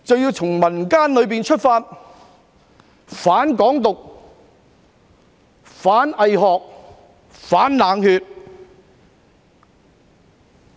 我們從民間出發，反"港獨"、反"偽學"、反"冷血"。